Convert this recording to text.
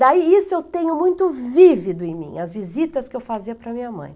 Daí isso eu tenho muito vívido em mim, as visitas que eu fazia para minha mãe.